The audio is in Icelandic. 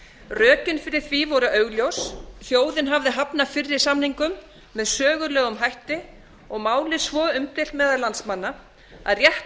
rökin fyrir því voru augljós þjóðin hafði hafnað fyrri samningum með sögulegum hætti og málið svo umdeilt meðal landsmanna að rétt